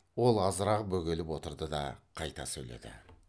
ол азырақ бөгеліп отырды да қайта сөйледі